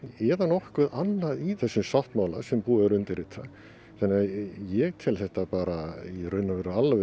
eða nokkuð annað í þessum sáttmála sem búið er að undirrita þannig að ég tel þetta bara alveg